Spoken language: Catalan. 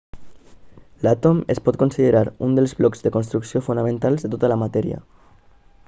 l'àtom es pot considerar un dels blocs de construcció fonamentals de tota la matèria